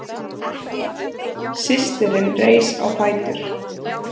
Systirin reis á fætur.